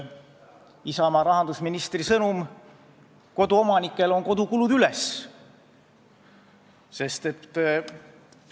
Isamaa rahandusministri sõnum kodutarbijatele on: "Kodukulud üles!